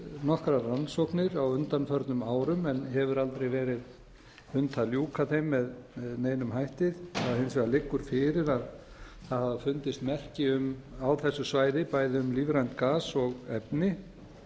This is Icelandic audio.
nokkrar rannsóknir á undanförnum árum en hefur aldrei verið unnt að ljúka þeim með neinum hætti það hins vegar liggur fyrir að það hafa fundist merki á þessu svæði bæði um lífrænt gas og efni